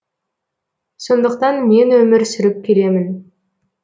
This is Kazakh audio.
сондықтан мен өмір сүріп келемін